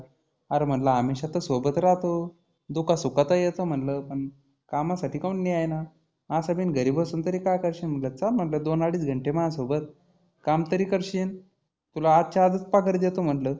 आरं म्हटलं हमेशा तर सोबत राहतो. दुखा सुखात ही येतो म्हटलं पण कामासाठी काहुन नाही येईना? असं बीन घरी बसुन तरी काय करशील म्हटलं चल दोन आडीच घंटे माझ्या सोबत काम तरी करशील. तुला आजच्या आजचं पगार देतो म्हटलं.